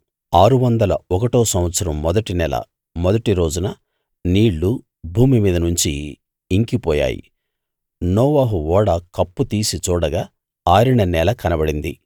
ఆరువందల ఒకటో సంవత్సరం మొదటి నెల మొదటి రోజున నీళ్ళు భూమి మీద నుంచి ఇంకిపోయాయి నోవహు ఓడ కప్పు తీసి చూడగా ఆరిన నేల కనబడింది